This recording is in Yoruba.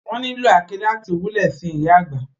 Wón nìlò àáké láti wulè sin ìyà àgbà.